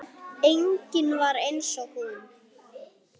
Engin var eins og hún.